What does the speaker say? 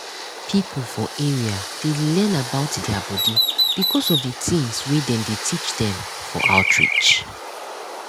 people for area dey learn about dia body because of the things wey dem dey teach dem for outreach.